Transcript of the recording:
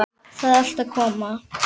Það er allt að koma.